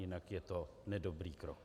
Jinak je to nedobrý krok.